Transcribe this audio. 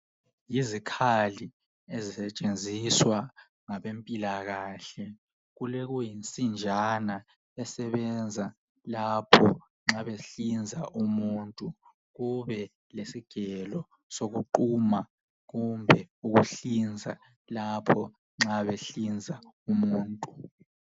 Yizikhali ezisetshenziswa ngabempilakahle kulokuyinsinjana esebenza lapho nxa behlinza umuntu kube lesigelo sokuquma kumbe ukuhlinza lapho nxa behlinza umuntu.